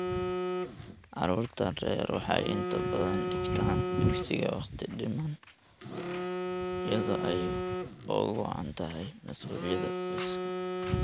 Caruurta rer waxay inta badan dhigtaan dugsiga waqti-dhiman iyadoo ay ugu wacan tahay mas'uuliyadda qoyska.